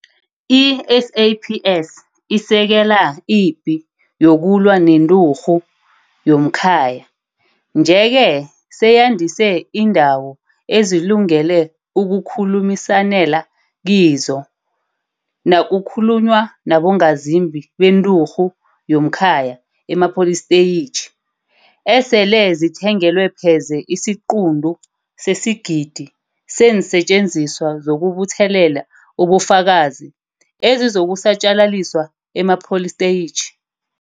I-SAPS isekela ipi yokulwa nenturhu yomkhaya, nje-ke seyandise iindawo ezilungele ukukhulumisanela kizo nakukhulunywa nabongazimbi benturhu yomkhaya emapolisteyitjhi, esele zithengelwe pheze isiquntu sesigidi seensetjenziswa zokubuthelela ubufakazi ezizokusatjalaliswa emapolisteyitjhi.